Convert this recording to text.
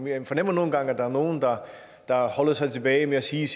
jeg fornemmer nogle gange at der er nogle der holder sig tilbage med at sige